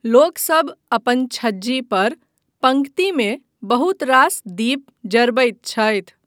लोकसभ अपन छज्जी पर पङ्क्तिमे बहुत रास दीप जरबैत छथि।